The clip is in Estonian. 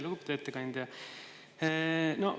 Lugupeetud ettekandja!